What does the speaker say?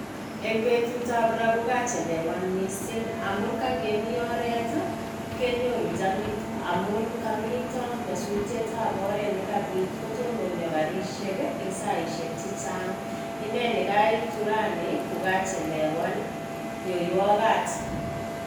Eng betutab ra kokachelewan missing amun kangemii oret i kenyoru jamit, amun komiito nyasutyet ab oret nekabiit kotononio garishek eng saaiishek chechang. Inee nekaitu rani kokachelewan nyoiwoogat.